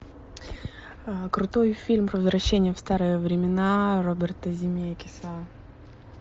крутой фильм про возвращение в старые времена роберта земекиса